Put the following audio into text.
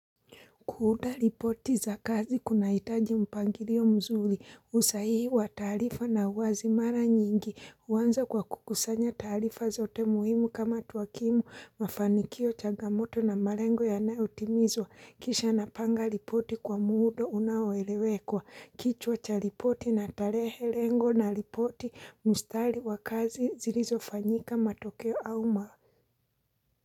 Kuunda ripoti za kazi kunaitaji mpangilo mzuri usahihi wa taarifa na uwazi mara nyingi uanza kwa kukusanya taarifa zote muhimu kama tuwakimu mafanikio chagamoto na malengo yanayo timizwa kisha napanga ripoti kwa muda unaoeleweka kichwa cha ripoti na tarehe lengo na ripoti mustari wa kazi zilizo fanyika matokeo au ma.